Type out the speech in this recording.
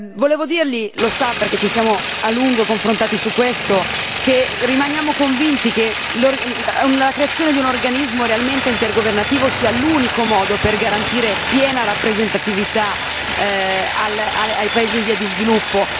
Volevo dirgli lo sa perché ci siamo a lungo confrontati su questo che rimaniamo convinti che la creazione di un organismo realmente intergovernativo sia l'unico modo per garantire piena rappresentatività ai paesi in via di sviluppo.